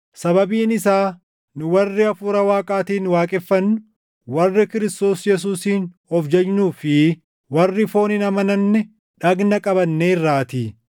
Sababiin isaa nu warri Hafuura Waaqaatiin waaqeffannu, warri Kiristoos Yesuusiin of jajnuu fi warri foon hin amananne dhagna qabanneerraatii;